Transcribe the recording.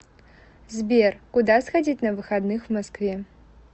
сбер куда сходить на выходных в москве